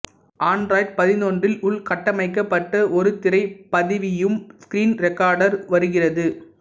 Android பதினொன்றில் உள்கட்டமைக்கப்பட்ட ஒரு திரை பதிவியும் ஸ்க்ரீன் ரெக்கார்டர் வருகிறது